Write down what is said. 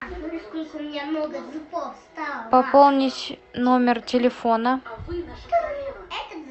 пополнить номер телефона